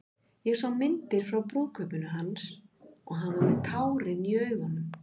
Ég sá myndir frá brúðkaupinu hans og hann var með tárin í augunum.